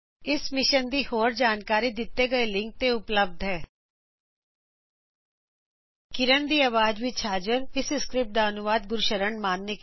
ਇਸ ਮਿਸ਼ਨ ਦੀ ਵਧੇਰੇ ਜਾਨਕਾਰੀ ਹੇਠ ਦਿੱਤੇ ਲਿੰਕ ਤੇ ਉਪਲਬਦ ਹੈ httpspoken tutorialorgNMEICT Intro ਇਹ ਸਕ੍ਰਿਪਟ ਦਾ ਅਨੂਵਾਦ ਗੁਰਸ਼ਰਨ ਸ਼ਾਨ ਦੁਆਰਾ ਕੀਤਾ ਗਿਆ ਹੈ